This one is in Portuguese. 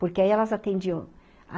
Porque aí elas atendiam.